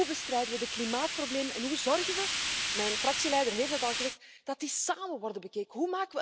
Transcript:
Hoe bestrijden we het klimaatprobleem en hoe zorgen we mijn fractieleider heeft het al gezegd dat die samen worden bekeken?